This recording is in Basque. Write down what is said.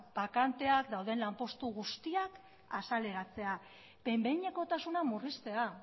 bakanteak dauden lanpostu guztiak azaleratzea behin behinekotasuna murriztea